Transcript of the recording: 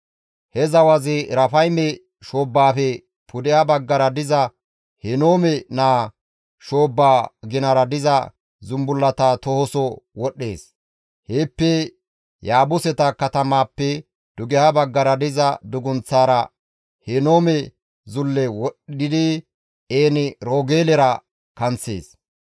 He zawazi Erafayme shoobbaafe pudeha baggara diza Henoome naa shoobbaa ginara diza zumbullaa tohoso wodhdhees; heeppe Yaabuseta katamappe dugeha baggara diza dugunththaara Henoome zulle wodhdhidi En-Roogeelera kanththees.